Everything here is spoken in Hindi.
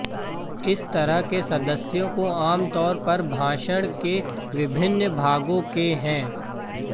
इस तरह के सदस्यों को आमतौर पर भाषण के विभिन्न भागों के हैं